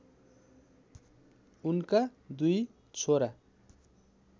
उनका दुई छोरा